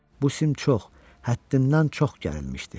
Bu sim çox, həddindən çox gərilmişdi.